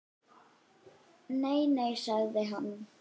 Nei, nei sagði hann.